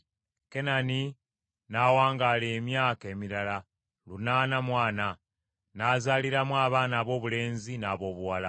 Kenani n’awangaala emyaka emirala lunaana mu ana, n’azaaliramu abaana aboobulenzi n’aboobuwala.